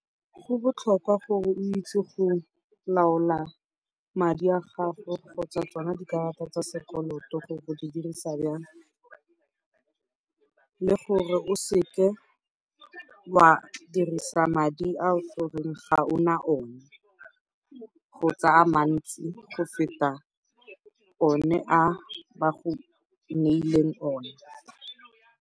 Go botlhokwa gore o itse go laola madi a gago kgotsa tsona dikarata tsa sekoloto gore o di dirisa jang, le gore o se ke wa dirisa madi ao goreng ga o na one, kgotsa a mantsi go feta one a ba go neileng one.